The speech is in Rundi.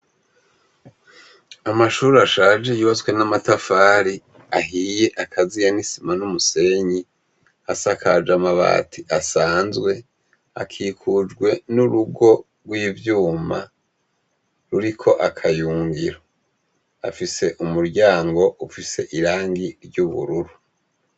Amashure ashaje yubatswe n'amatafari ahiye akaziye n'isima n'umusenyi, asakaje amabati asanzwe, akikujwe n'urugo rw'ivyuma ruriko akayungiro, afise umuryango ufise irangi ry'ubururu.